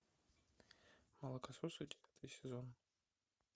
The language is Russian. мокососы девятый сезон